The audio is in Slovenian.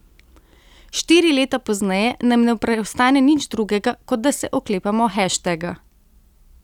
Štiri leta pozneje nam ne preostane nič drugega, kot da se oklepamo heštega.